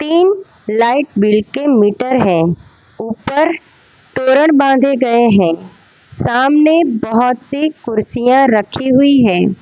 तीन light bill के meter है ऊपर तोरण बांधे गए हैं सामने बहोत सी कुर्सियां रखी हुई हैं।